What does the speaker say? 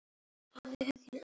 Ég er hrifinn af eggjum.